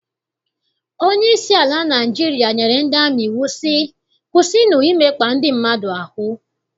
Onyeisi ala Naịjirịa nyere ndị amị iwu sị, kwụsịnụ imekpa ndị mmadụ ahụ!